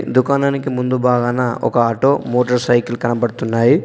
దుకాణానికి ముందు భాగాన ఒక ఆటో మోటర్ సైకిల్ కనబడుతున్నాయి.